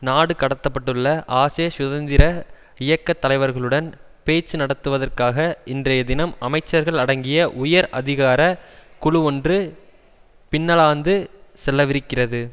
நாடு கடத்தப்பட்டுள்ள ஆஷே சுதந்திர இயக்க தலைவர்களுடன் பேச்சு நடத்துவதற்காக இன்றைய தினம் அமைச்சர்கள் அடங்கிய உயர் அதிகார குழு ஒன்று பின்னலாந்து செல்லவிருக்கிறது